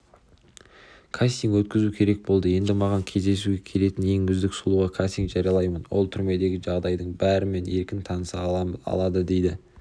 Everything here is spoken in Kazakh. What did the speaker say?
кастинг өткізу керек болды енді маған кездесуге келетін ең үздік сұлуға кастинг жариялаймын ол түрмедегі жағдайдың бәрімен еркін таныса алады дейді